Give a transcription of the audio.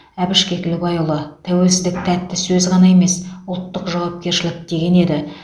әбіш кекілбайұлы тәуелсіздік тәтті сөз ғана емес ұлттық жауапкершілік деген еді